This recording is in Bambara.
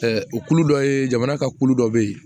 o kulu dɔ ye jamana ka kulu dɔ bɛ yen